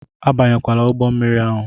Abanyela ụgbọ mmiri ahụ!